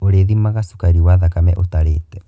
Orĩthimaga cukari wa thakame ũtarĩte.